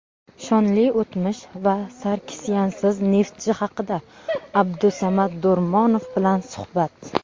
Shonli o‘tmish va Sarkisyansiz "Neftchi" haqida Abdusamad Do‘rmonov bilan suhbat.